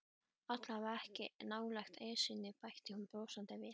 Allavega ekki nálægt Esjunni bætti hún brosandi við.